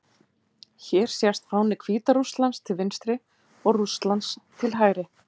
Hér sést fáni Hvíta-Rússlands til vinstri og Rússlands til hægri.